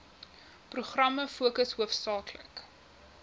programme fokus hoofsaaklik